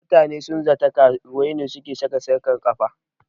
Mutane sun zata karuwai ne suke sarka sarƙan kafa